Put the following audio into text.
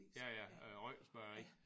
Ja ja øh Røgters bageri